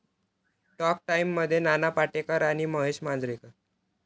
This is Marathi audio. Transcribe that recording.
टॉक टाइममध्ये नाना पाटेकर आणि महेश मांजरेकर